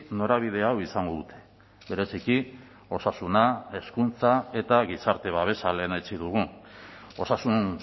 norabide hau izango dute bereziki osasuna hezkuntza eta gizarte babesa lehenetsi dugu osasun